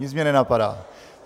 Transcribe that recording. Nic mě nenapadá.